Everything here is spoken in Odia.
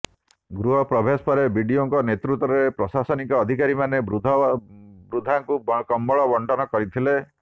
ଗୃହ ପ୍ରବେଶ ପରେ ବିଡିଓଙ୍କ ନେତୃତ୍ୱରେ ପ୍ରଶାସନିକ ଅଧିକାରୀମାନେ ବୃଦ୍ଧବୃଦ୍ଧାଙ୍କୁ କମ୍ବଳ ବଣ୍ଟନ କରିଥିଲେ